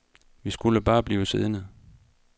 Vi skulle bare blive siddende.